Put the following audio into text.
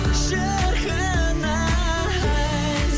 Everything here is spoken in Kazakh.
шіркін ай